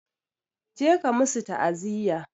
Je ka musu taaziya!